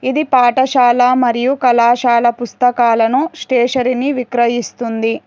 ఇది పాఠశాల మరియు కళాశాల పుస్తకాలను స్టేశరీ నీ విక్రయిస్తుంది.